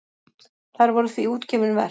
Þær voru því útgefin verk.